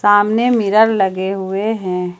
सामने मिरर लगे हुए हैं ।